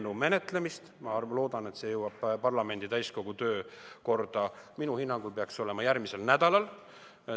Ma loodan, et see jõuab parlamendi täiskogu päevakorda, minu hinnangul peaks see olema järgmisel nädalal.